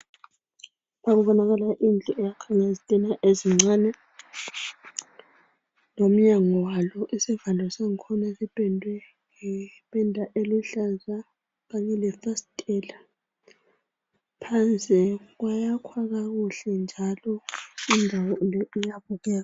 kubonakala indlu eyakhwe ngezitina ezincane lomnyango walo isivalo sangkhona sipendwe ngependa eluhlaza kanye lefasitela phansi kwayakhwa kakuhle njalo indawo le iyabukeka